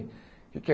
O que é?